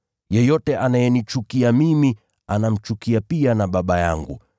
Yeyote anayenichukia mimi, anamchukia pia na Baba yangu.